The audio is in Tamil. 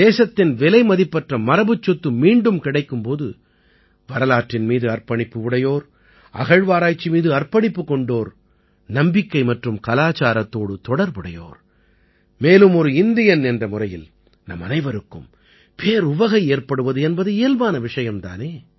தேசத்தின் விலைமதிப்பற்ற மரபுச் சொத்து மீண்டும் கிடைக்கும் போது வரலாற்றின் மீது அர்ப்பணிப்பு உடையோர் அகழ்வாராய்ச்சி மீது அர்ப்பணிப்புக் கொண்டோர் நம்பிக்கை மற்றும் கலச்சாரத்தோடு தொடர்புடையோர் மேலும் ஒரு இந்தியன் என்ற முறையில் நம்மனைவருக்கும் பேருவகை ஏற்படுவது என்பது இயல்பான விஷயம் தானே